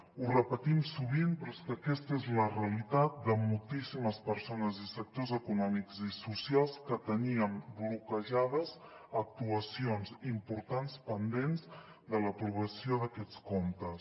ho repetim sovint però és que aquesta és la realitat de moltíssimes persones i sectors econòmics i socials que tenien bloquejades actuacions importants pendents de l’aprovació d’aquests comptes